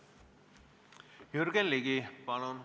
Jürgen Ligi, palun!